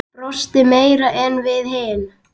Brosti meira en við hin.